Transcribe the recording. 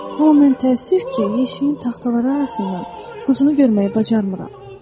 Amma mən təəssüf ki, yeşiyin taxtaları arasından quzunu görməyə bacarmıram.